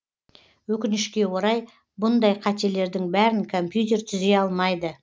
өкінішке орай бұндай қателердің бәрін компьютер түзей алмайды